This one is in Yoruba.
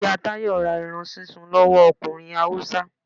iya tayo ra erán sísún lowo ọkunrín Hawúsa